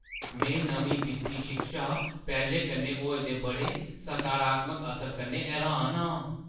में नमीं वित्ती शिक्षा पैह्‌लें कन्नै होए दे बड़े सकारात्मक असर कन्नै हैरान आं।